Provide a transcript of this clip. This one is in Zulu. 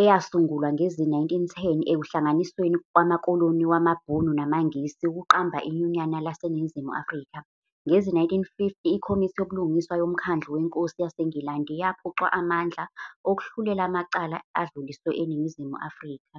eyasungulwa ngezi-1910 ekuhlangisweni wamakoloni wamaBhunu namaNgisi ukuqamba iNyunyana laseNingizimu Afrika. Ngezi-1950, iKhomithi YoBulungiswa yoMkhandlu weNkosi yaseNgilandi yaphucwa amandla okuhlulela amacala edluliswe eNingizimu Afrika.